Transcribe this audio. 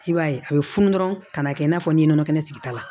I b'a ye a bɛ funu dɔrɔn ka na kɛ i n'a fɔ n ye nɔnɔ kɛnɛ sigita la